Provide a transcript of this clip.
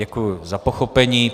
Děkuji za pochopení.